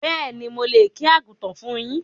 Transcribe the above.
Béèni, mo lè kí Àgùntàn fún yín